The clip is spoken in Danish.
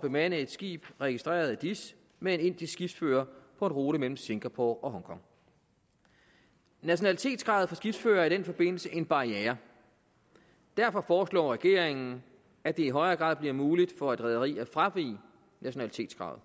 bemande et skib registreret i dis med en indisk skibsfører på en rute mellem singapore og hongkong nationalitetskravet for skibsførere er i den forbindelse en barriere derfor foreslår regeringen at det i højere grad bliver muligt for et rederi at fravige nationalitetskravet